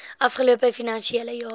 afgelope finansiële jaar